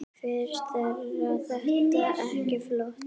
Finnst þér þetta ekki flott?